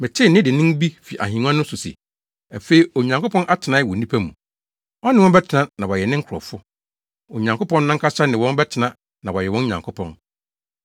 Metee nne dennen bi fi ahengua no so se, “Afei, Onyankopɔn atenae wɔ nnipa mu. Ɔne wɔn bɛtena na wɔayɛ ne nkurɔfo. Onyankopɔn no ankasa ne wɔn bɛtena na wayɛ wɔn Nyankopɔn.